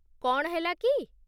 କ'ଣ ହେଲା କି?